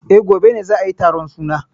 Eh, gobe ne za ayi taron suna.